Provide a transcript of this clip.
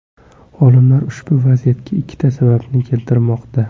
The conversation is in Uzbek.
Olimlar ushbu vaziyatga ikkita sababni keltirmoqda.